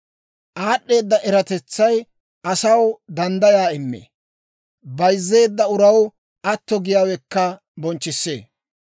Aad'd'eeda eratetsay asaw danddayaa immee; bayzzeedda uraw atto giyaawekka bonchchissee.